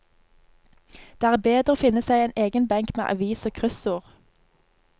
Det er bedre å finne seg en egen benk med avis og kryssord.